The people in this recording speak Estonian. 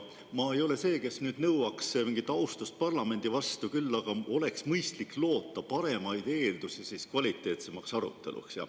Ma ei ole see, kes nõuaks mingit austust parlamendi vastu, küll aga oleks mõistlik loota paremaid eeldusi kvaliteetsemaks aruteluks.